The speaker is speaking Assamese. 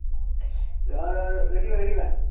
ৰহ ৰহ ৰখিবা ৰখিবা